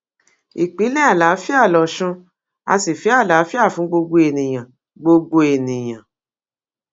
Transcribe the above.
ìpínlẹ àlàáfíà lọsùn á sì fẹ àlàáfíà fún gbogbo ènìyàn gbogbo ènìyàn